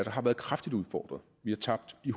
har været kraftigt udfordret vi har tabt i